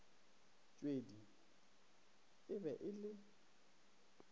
tshwedi e be e le